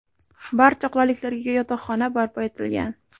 Barcha qulayliklarga ega yotoqxona barpo etilgan.